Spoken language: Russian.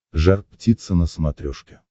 жар птица на смотрешке